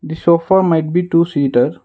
the sofa might be two seated.